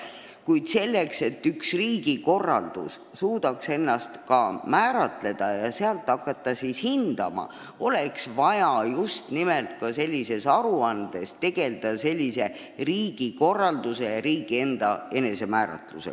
Kuid selleks, et üks riik suudaks ennast määratleda ja selle põhjal hindama hakata, oleks vaja just nimelt sellises aruandes käsitleda riigikorraldust ja riigi enesemääratlust.